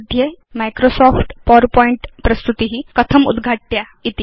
मध्ये Microsoft PowerPoint प्रस्तुति कथम् उद्घाट्या इति